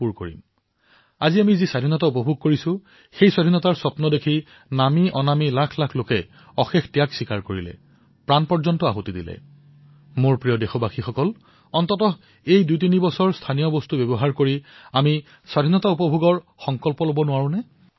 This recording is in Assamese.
মোৰ মৰমৰ দেশবাসীসকল আমি এই সংকল্প লব নোৱাৰোনে যে ২০২২ চনত স্বাধীনতাৰ ৭৫তম বৰ্ষ পূৰণৰ পৰিপ্ৰেক্ষিতত অতিকমেও দুইতিনিবছৰ আমি স্থানীয় উৎপাদিত সামগ্ৰী ক্ৰয় কৰো ভাৰতত নিৰ্মিত আমাৰ দেশবাসীৰ হাতেৰে নিৰ্মিত আমাৰ দেশবাসীৰ ঘামৰ সুঘ্ৰাণ যত সমাহিত এনে সামগ্ৰীসমূহ আমি ক্ৰয় কৰাৰ বাবে আগ্ৰহ প্ৰকাশ কৰিব নোৱাৰোনে মই দীৰ্ঘসময়ৰ বাবে কোৱা নাই কেৱল ২০২২ চনলৈ স্বাধীনতাৰ ৭৫ বৰ্ষ পূৰণ হোৱালৈ